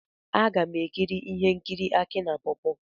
M ga-ekiri ihe nkiri Aki na pawpaw.